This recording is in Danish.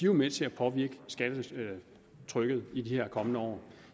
jo med til at påvirke skattetrykket i de kommende år